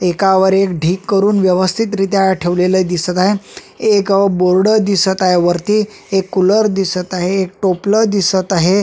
एकावर एक ढीग करून व्यवस्थित रित्या ठेवलेल दिसत आहे एक बोर्ड दिसत आहे वरती एक कुलर दिसत आहे एक टोपल दिसत आहे.